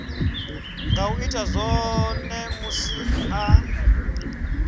nga ita zwone musi a